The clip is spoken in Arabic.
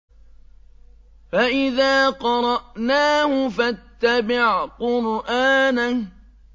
فَإِذَا قَرَأْنَاهُ فَاتَّبِعْ قُرْآنَهُ